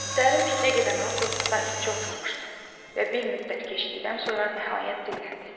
Dərin fikrə gedən Avqust sakitcə oturmuşdu və bir müddət keçdikdən sonra nəhayət dilləndi.